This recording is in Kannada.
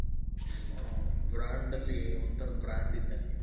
ಹ brand ಅಲ್ಲಿ ಒಂತರ brand ಇದ್ದಂಗೆ.